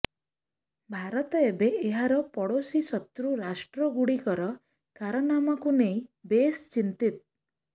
ଭାରତ ଏବେ ଏହାର ପଡ଼ୋଶୀ ଶତ୍ରୁ ରାଷ୍ଟ୍ରଗୁଡ଼ିକର କାରନାମାକୁ ନେଇ ବେଶ୍ ଚିନ୍ତିତ